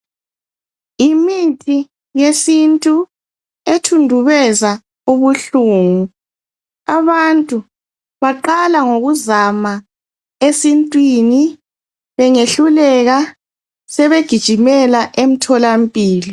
Yimithi yesintu ethundubeza ubuhlungu. Ababtu baqala ngokuzama esintwini, bengehluleka sebegijimela emtholampilo.